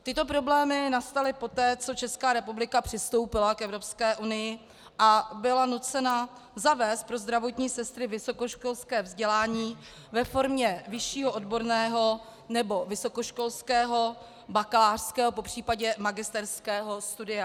Tyto problémy nastaly poté, co Česká republika přistoupila k Evropské unii a byla nucena zavést pro zdravotní sestry vysokoškolské vzdělání ve formě vyššího odborného nebo vysokoškolského bakalářského, popřípadě magisterského studia.